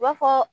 I b'a fɔ